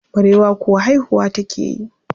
Barewa kuwa haihuwa take yi.